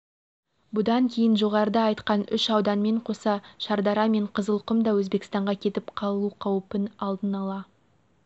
бұдан кейін жоғарыда айтқан үш ауданмен қоса шардара мен қызылқұм да өзбекстанға кетіп қалу қаупын алдын-ала